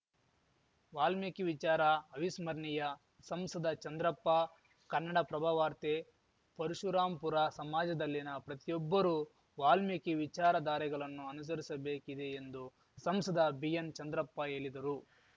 ವಾಲ್ಮೀಕಿ ವಿಚಾರ ಅವಿಸ್ಮರಣೀಯ ಸಂಸದ ಚಂದ್ರಪ್ಪ ಕನ್ನಡಪ್ರಭವಾರ್ತೆ ಪರಶುರಾಂಪುರ ಸಮಾಜದಲ್ಲಿನ ಪ್ರತಿಯೊಬ್ಬರೂ ವಾಲ್ಮೀಕಿ ವಿಚಾರಧಾರೆಗಲನ್ನು ಅನುಸರಿಸಬೇಕಿದೆ ಎಂದು ಸಂಸದ ಬಿಎನ್‌ ಚಂದ್ರಪ್ಪ ಹೇಲಿದರು